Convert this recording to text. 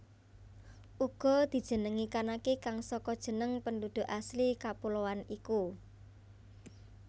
Uga dijenengi Kanaki kang saka jeneng penduduk asli kepuloan iku